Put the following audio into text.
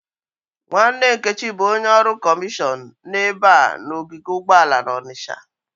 Nwanne Nkechi bụ onye ọrụ kọmishọn n'ebe a na-ogige ụgbọala n'ọnitsha.